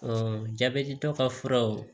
jabɛti tɔ ka furaw